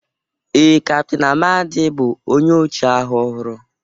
ee, Captain Amadi bụ onye ọchịagha ọhụrụ